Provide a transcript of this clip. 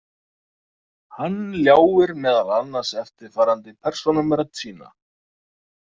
Hann ljáir meðal annars eftirfarandi persónum rödd sína.